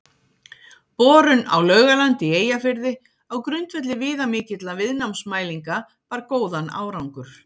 Borun á Laugalandi í Eyjafirði á grundvelli viðamikilla viðnámsmælinga bar góðan árangur.